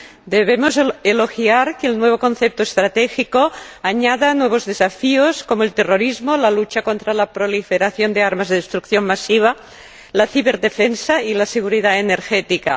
Debemos elogiar que el nuevo concepto estratégico añada nuevos desafíos, como el terrorismo, la lucha contra la proliferación de armas de destrucción masiva, la ciberdefensa y la seguridad energética.